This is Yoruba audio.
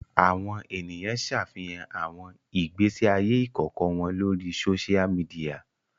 Awọn eniyan ṣafihan awọn igbesi aye ikọkọ wọn lori sósia midiya